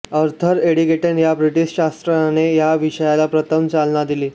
Arthur Eddington या ब्रिटिश शास्त्रज्ञाने या विषयाला प्रथम चालना दिली